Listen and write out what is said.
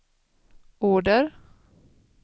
order